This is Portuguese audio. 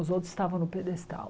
Os outros estavam no pedestal.